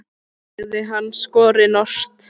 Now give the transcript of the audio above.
sagði hann skorinort.